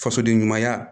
Fasoden ɲumanya